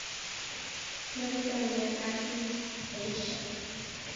Kertone Asisi, Aisha?